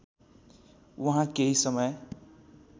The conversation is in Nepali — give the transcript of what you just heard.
उहाँ केही समय